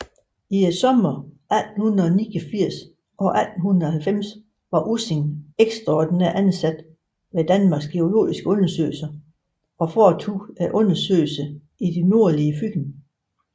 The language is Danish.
I somrene 1889 og 1890 var Ussing ekstraordinært ansat ved Danmarks geologiske Undersøgelse og foretog undersøgelser i det nordlige Fyn